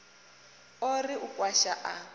o ri u kwasha a